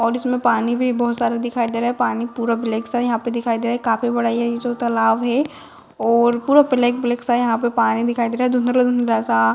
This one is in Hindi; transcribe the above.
और इसमें पानी भी बोहोत सारा दिखाई दे रहा है पानी पूरा ब्लैक सा है यहाँ पे दिखाई दे रहा है काफी बड़ा ये जो तालाव है और पूरा ब्लैक ब्लैक सा यहाँ पे पानी दिखाई दे रहा है धुंधला-धुंधला सा।